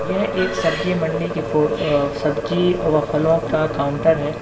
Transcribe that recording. यह एक सब्जी मंडी की फो अह सब्जी और व फलों का काउंटर है।